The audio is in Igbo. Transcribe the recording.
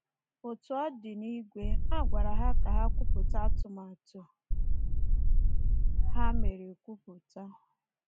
Otu ọ dị, n’ìgwe, a gwara ha ka ha kwupụta atụmatụ ha mere ekwupụta.